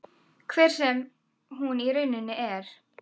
Hver sem hún í rauninni er.